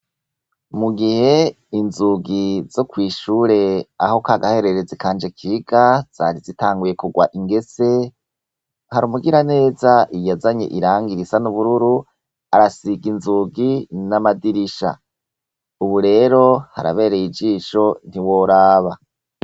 Mu gihe inzugi zo kw'ishure aho k'agahererezi kanje kiga zari zitanguye kugwa ingese, hari umugiraneza yazanye irangi risa n'ubururu arasiga inzugi n'amadirisha. Ubu rero harabereye ijisho ntiworaba.